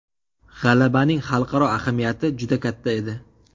G‘alabaning xalqaro ahamiyati juda katta edi.